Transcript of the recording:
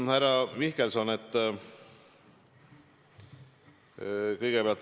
Härra Mihkelson!